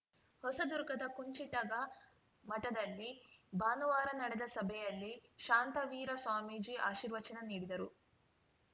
ಹೊಸದುರ್ಗದ ಕುಂಚಿಟಗ ಮಠದಲ್ಲಿ ಭಾನುವಾರ ನಡೆದ ಸಭೆಯಲ್ಲಿ ಶಾಂತವೀರ ಸ್ವಾಮೀಜಿ ಆಶೀರ್ವಚನ ನೀಡಿದರು